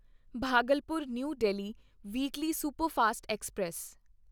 Bhagalpur new Delhi weekly superfast express